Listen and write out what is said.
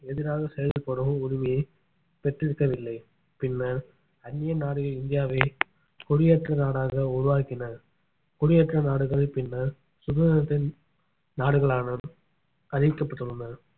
எதிராக செயல்படும் உரிமையை பெற்றிருக்கவில்லை பின்னர் அன்னிய நாடுகள் இந்தியாவை குடியேற்ற நாடாக உருவாக்கின குடியேற்ற நாடுகள் பின்னர் சுதந்திரத்தின் நாடுகளான அறிவிக்கப்பட்டுள்ளன